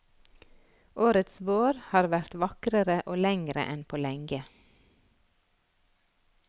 Årets vår har vært vakrere og lengre enn på lenge.